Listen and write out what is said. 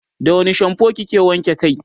da wani shampoo kike wanke kai?